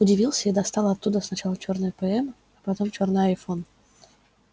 удивился и достал оттуда сначала чёрный пм а потом чёрный айфон